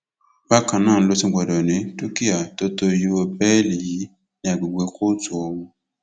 bákan náà ló tún gbọdọ ní dúkìá tó tó iye owó bẹẹlí yìí ní àgbègbè kóòtù ọhún